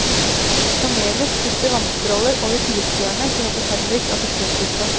Kameler spytter vannstråler over tilskuerne som roper henrykt av forskrekkelse.